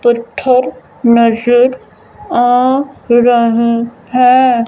मस्जिद आ रहा है।